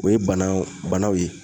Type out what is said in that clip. O ye bana banaw ye.